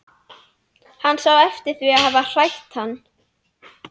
Hann sá eftir því að hafa hrætt hann.